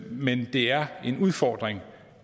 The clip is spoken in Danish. men det er en udfordring